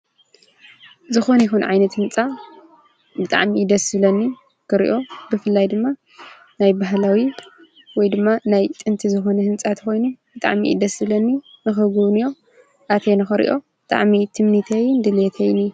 ዝኮነ ይኩን ዓይነት ህንጻ ብጣዕሚ እዩ ደስ ዝብለኒ ክርእዮ ብፍላይ ድማ ናይ ባህላዊ ወይ ድማ ናይ ጥንቲ ዝኮነ ህንጻ እንተኮይኑ ብጣዕሚ እዩ ደስ ዝብለኒ ንክጉብንዮ ኣትየ ንክርእዮ ብጣዕሚ ትምኒተይ ድሌተይይን እዩ።